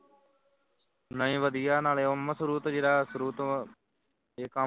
ਨਹੀਂ ਵਧੀਆ ਹੈ ਨਾਲੇ ਓਹ ਮਸ਼ੁਰੂ ਤੋਂ ਜਿਹੜਾ ਸ਼ੁਰੂ ਤੋਂ ਇਹ ਕੰਮ